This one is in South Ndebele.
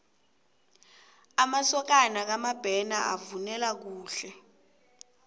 amasokana kamabena bavunula kuhle